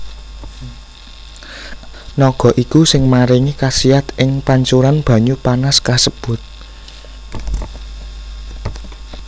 Naga iku sing maringi kasiat ing pancuran banyu panas kasebut